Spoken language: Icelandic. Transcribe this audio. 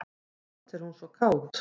Samt er hún svo kát.